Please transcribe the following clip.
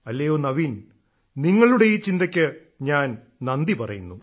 അല്ലയോ നവീൻ നിങ്ങളുടെ ഈ ചിന്തയ്ക്ക് ഞാൻ നന്ദിപറയുന്നു